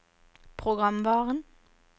programvaren